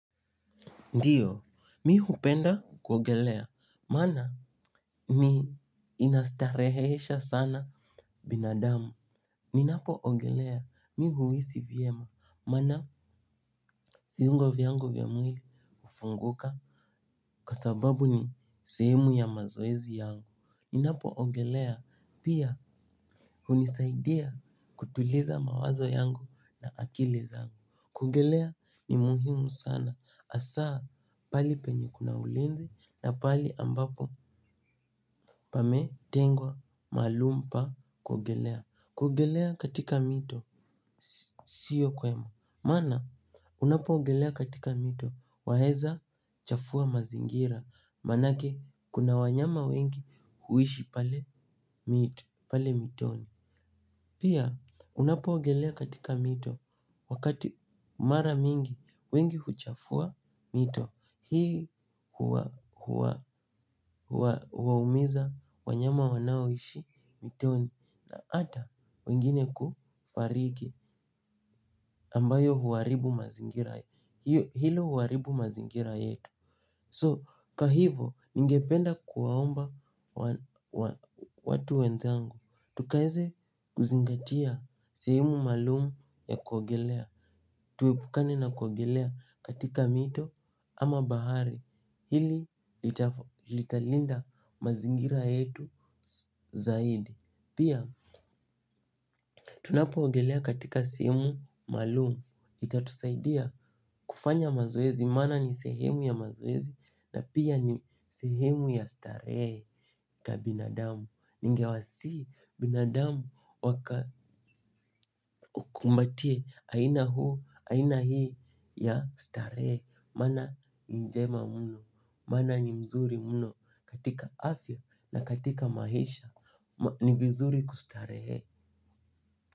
Ndiyo, mi hupenda kuogelea, maana ni inastarehesha sana binadamu. Ninapo ogelea mi huhisi vyema, maana viungo vyangu vya mwili hufunguka kwa sababu ni sehemu ya mazoezi yangu. Ninapo ogelea pia hunisaidia kutuliza mawazo yangu na akili zangu. Kuogelea ni muhimu sana, hasa pahali penye kuna ulevi na pali ambapo pametengwa maalum pa kuogelea. Kuogelea katika mito, siyo kwema, maana unapoogelea katika mito, waeza chafua mazingira. Maanake kuna wanyama wengi huishi pale mito, pale mitoni. Pia, unapoogelea katika mito, wakati mara mingi, wengi huchafua mito, hii huwaumiza wanyama wanao ishi mtoni, hata wengine kufariki ambayo huharibu mazingira, hilo huharibu mazingira yetu So kwahiyvo ningependa kuwaomba watu wenzangu. Tukaweze kuzingatia sehemu maalumu ya kuogelea. Tuwmepukane na kuogelea katika mito ama bahari. Hili litalinda mazingira yetu zaidi. Pia tunapo ogelea katika sehemu maalumu itatusaidia kufanya mazoezi maana ni sehemu ya mazoezi na pia ni sehemu ya starehe. Ka binadamu, ningewasihi binadamu wakakumbatie aina huu, aina hii ya starehe. Maana njema mno, maana ni mzuri mno katika afya na katika maisha ni vizuri kustarehe.